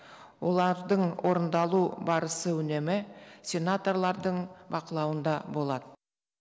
олардың орындалу барысы үнемі сенаторлардың бақылауында болады